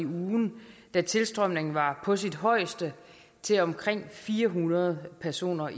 ugen da tilstrømningen var på sit højeste til omkring fire hundrede personer